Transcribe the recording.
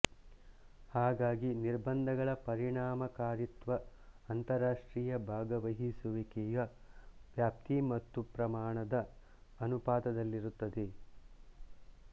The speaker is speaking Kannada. ಹಾಗಾಗಿ ನಿರ್ಬಂಧಗಳ ಪರಿಣಾಮಕಾರಿತ್ವ ಅಂತರರಾಷ್ಟ್ರೀಯ ಭಾಗವಹಿಸುವಿಕೆಯ ವ್ಯಾಪ್ತಿ ಮತ್ತು ಪ್ರಮಾಣದ ಅನುಪಾತದಲ್ಲಿರುತ್ತದೆ